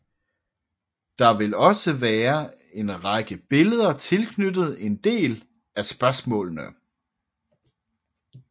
Der vil også være en række billeder tilknyttet en del af spørgsmålene